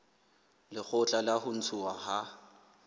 lekgotla la ho ntshuwa ha